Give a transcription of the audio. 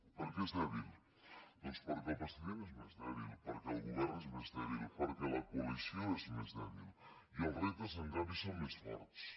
per què és dèbil doncs perquè el president és més dèbil perquè el govern és més dèbil perquè la coalició és més dèbil i els reptes en canvi són més forts